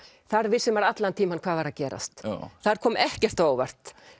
þar vissi maður allan tímann hvað var að gerast þar kom ekkert á óvart